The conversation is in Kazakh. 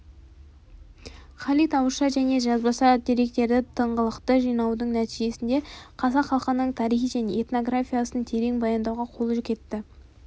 халид ауызша және жазбаша деректерді тыңғылықты жинаудың нәтижесінде қазақ халқының тарихы мен этнографиясын терең баяндауға қолы жетті